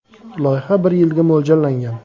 Loyiha bir yilga mo‘ljallangan.